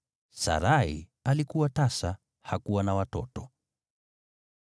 Sarai alikuwa tasa, hakuwa na watoto.